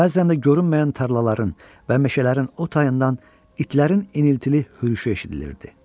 Bəzən də görünməyən tarlaların və meşələrin o tayından itlərin iniltili hürüşü eşidilirdi.